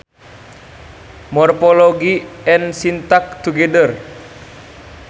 Morphology and syntax together